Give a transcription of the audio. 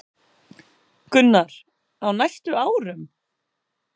Gunnar: Á næstu árum?